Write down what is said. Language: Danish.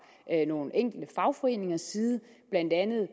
nogle enkelte fagforeningers side blandt andet